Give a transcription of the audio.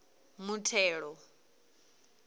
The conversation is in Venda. muthelo